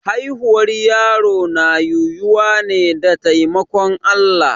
Haihuwar yaro na yiwuwa ne da taimakon Allah.